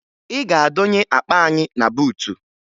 Ị ga-adọnye akpa anyị na buutu!